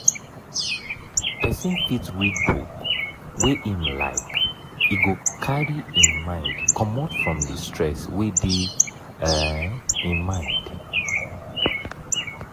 person fit read book wey im like e go carry im mind comot from di stress wey dey um im life